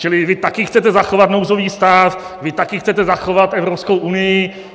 Čili vy taky chcete zachovat nouzový stav, vy také chcete zachovat Evropskou unii.